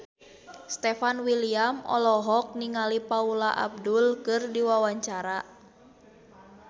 Stefan William olohok ningali Paula Abdul keur diwawancara